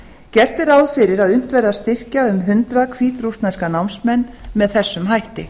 gert er ráð fyrir að unnt verði að styrkja um hundrað hvítrússneska námsmenn með þessum hætti